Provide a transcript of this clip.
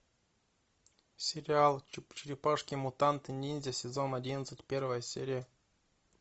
сериал черепашки мутанты ниндзя сезон одиннадцать первая серия